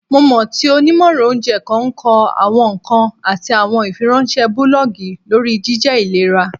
Mo mọ ti onimọran ounjẹ kan kọ awọn nkan ati awọn ifiweranṣẹ bulọọgi lori jijẹ ilera.